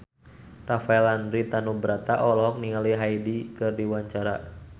Rafael Landry Tanubrata olohok ningali Hyde keur diwawancara